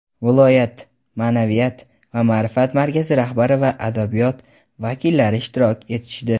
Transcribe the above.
viloyat ma’naviyat va ma’rifat markazi rahbari va adabiyot vakillari ishtirok etishdi.